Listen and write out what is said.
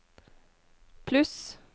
pluss